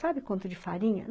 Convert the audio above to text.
Sabe quanto de farinha?